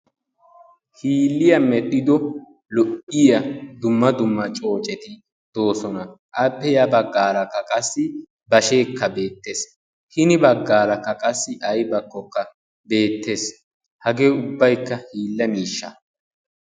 hiiliya medhdhido lo"iyaa dumma dumma coocceti doossona appe ya baggara qassi bashshekka bettees hina baggarakka qassi aybbakkoka bettees hagee ubbaykka hiila miishsha